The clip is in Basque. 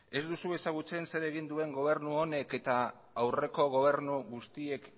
ez duzu ezagutzen zer egin duen gobernu honek eta aurreko gobernu guztiek